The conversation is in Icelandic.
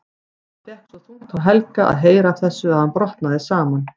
Það fékk svo þungt á Helga að heyra af þessu að hann brotnaði saman.